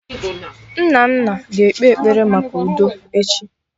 Nnanna ga-ekpe ekpere maka udo echi niile